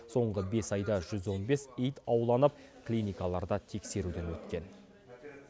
соңғы бес айда жүз он бес ит ауланып клиникаларда тексеруден өткен